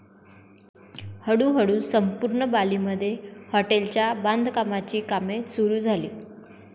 हळू हळू संपूर्ण बाली मध्ये हॉटेलच्या बांधकामाची कामे सुरु झाली.